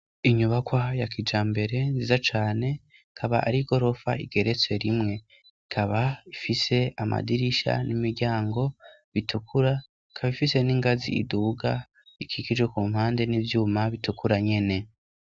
inyubakwa ya kijambere nziza cane ikaba ari gorofa igeretse rimwe ikaba ifise amadirisha n'imiryango bitukura kaba ifise n'ingazi iduga ikikije ku mpande n'ivyuma bitukura nyene